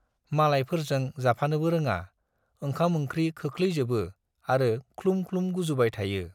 मालायफोरजों जाफानोबो रोङा, ओंखाम-ओंख्रि खोख्लैजोबो आरो ख्लुम ख्लुम गुजुबाय थायो।